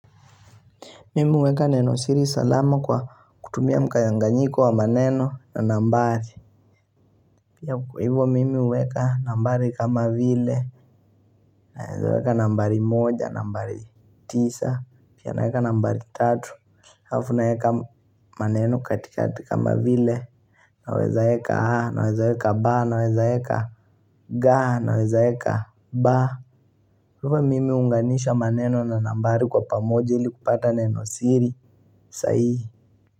Mimi uweka neno siri salama kwa kutumia mkayanganyiko wa maneno na nambari Pia hivyo mimi uweka nambari kama vile, nawezaweka nambari moja, nambari tisa, pia naweka nambari tatu Hafu naweka maneno katika kama vile, nawezaweka a, nawezaweka ba, nawezaweka ga, nawezaweka ba Hivyo mimi unganisha maneno na nambari kwa pamoja hili kupata neno siri, saihi.